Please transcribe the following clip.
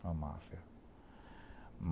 Uma máfia.